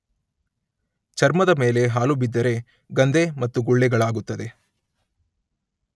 ಚರ್ಮದಮೇಲೆ ಹಾಲು ಬಿದ್ದರೆ ಗಂದೆ ಮತ್ತು ಗುಳ್ಳೆಗಳಾಗುತ್ತದೆ.